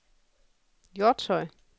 Hjortshøj